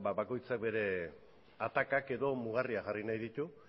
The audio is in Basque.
bakoitzak bere atakak edo mugarriak jarri nahi ditu